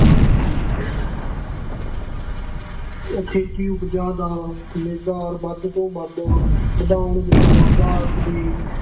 ਖੇਤੀ ਉਪਜਾਂ ਦਾ ਨਿਰਯਾਤ ਵੱਧ ਤੋਂ ਵੱਧ ਵਧਾਉਣ ਵਿੱਚ ਭਾਰਤ ਦੀ